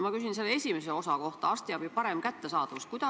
Ma küsin selle esimese osa kohta, arstiabi parema kättesaadavuse kohta.